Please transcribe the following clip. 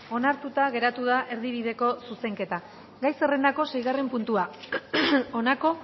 onartuta geratu da erdibideko zuzenketa gai zerrendako seigarren puntua honako